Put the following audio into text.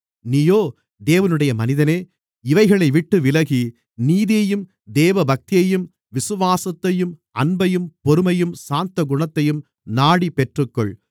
நீயோ தேவனுடைய மனிதனே இவைகளைவிட்டு விலகி நீதியையும் தேவபக்தியையும் விசுவாசத்தையும் அன்பையும் பொறுமையையும் சாந்தகுணத்தையும் நாடிப் பெற்றுக்கொள்